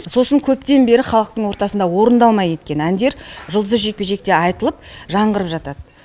сосын көптен бері халықтың ортасында орындалмай кеткен әндер жұлдызды жекпе жекте айтылып жаңғырып жатады